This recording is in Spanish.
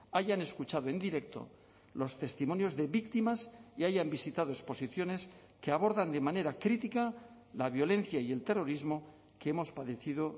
hayan escuchado en directo los testimonios de víctimas y hayan visitado exposiciones que abordan de manera crítica la violencia y el terrorismo que hemos padecido